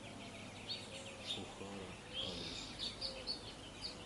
охара адрес